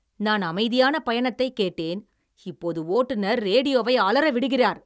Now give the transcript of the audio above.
நான் அமைதியான பயணத்தைக் கேட்டேன், இப்போது ஓட்டுநர் ரேடியோவை அலற விடுகிறார்!